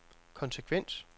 konsekvens